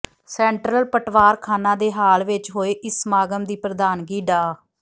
central ਪਟਵਾਰ ਖਾਨਾ ਦੇ ਹਾਲ ਵਿੱਚ ਹੋਏ ਇਸ ਸਮਾਗਮ ਦੀ ਪ੍ਰਧਾਨਗੀ ਡਾ